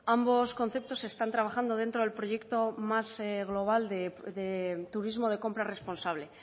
ambos conceptos están trabajando dentro del proyecto más global de turismo de compra responsable